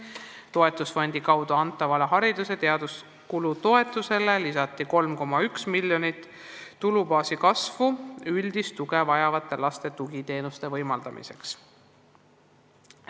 Toetusfondi kaudu antavale haridustoetusele lisati 3,1 miljonit üldist tuge vajavate laste tugiteenuste võimaldamiseks.